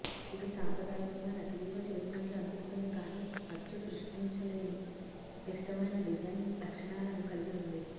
ఇది సాంప్రదాయకంగా నకిలీగా చేసినట్లు అనిపిస్తుంది కానీ అచ్చు సృష్టించలేని క్లిష్టమైన డిజైన్ లక్షణాలను కలిగి ఉంది